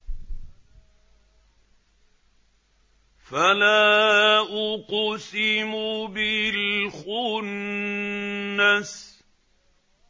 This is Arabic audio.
فَلَا أُقْسِمُ بِالْخُنَّسِ